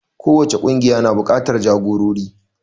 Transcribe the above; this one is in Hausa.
Kowace ƙungiya na buƙatar jagorori.